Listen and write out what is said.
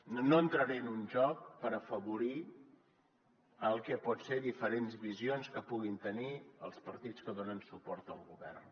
no entraré en un joc per afavorir el que poden ser diferents visions que puguin tenir els partits que donen suport al govern